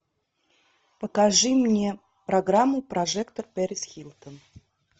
покажи мне программу прожектор пэрис хилтон